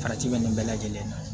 Farati bɛ nin bɛɛ lajɛlen na